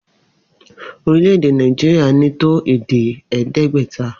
Orílè̩-èdè Naijiria ní́ tó èdè è̩é̩dé̩gbè̩ta